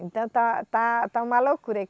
Então está, está, está uma loucura.